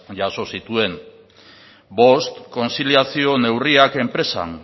jaso zituen bost kontziliazio neurriak enpresan